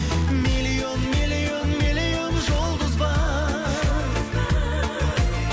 миллион миллион миллион жұлдыз бар